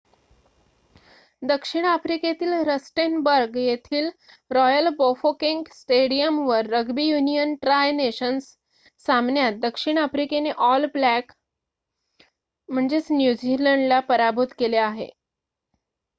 दक्षिण आफ्रिकेतील रस्टेनबर्ग येथील रॉयल बाफोकेंग स्टेडियमवर रग्बी युनियन ट्राय नेशन्स सामन्यात दक्षिण आफ्रिकेने ऑल ब्लॅक न्यूझीलंड ला पराभूत केले आहे